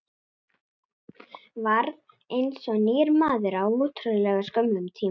Varð eins og nýr maður á ótrúlega skömmum tíma.